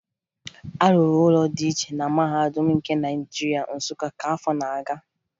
A rụrụ ụlọ dị iche na Mahadum nke Naịjirịa, Nsụka, ka afọ nọ na-aga